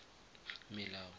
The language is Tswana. melao